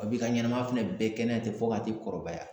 b'i ka ɲɛnɛmaya fana bɛɛ kɛ n'a ye ten, fɔ ka t'i kɔrɔbaya.